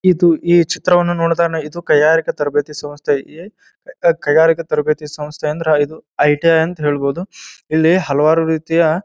ಇದು ಈ ಚಿತ್ರವನ್ನ ನೋಡದಾಗ ಇದು ಕೈಗಾರಿಕ ತರಬೇತಿ ಸಂಸ್ಥೆಯೇ ಕೈಗಾರಿಕ ತರಬೇತಿ ಸಂಸ್ಥೆ ಅಂದ್ರೆ ಇದು ಐಟೇ ಅಂತ ಹೇಳಬಹುದು. ಇಲ್ಲಿ ಹಲವಾರು ರೀತಿಯ--